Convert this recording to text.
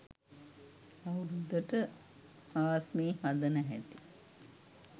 අවුරුද්දට ආස්මී හදන හැටි